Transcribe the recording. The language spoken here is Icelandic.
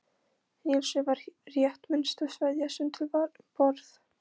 Níelsi var rétt minnsta sveðjan sem til var um borð.